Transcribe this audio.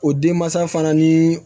O denmansa fana ni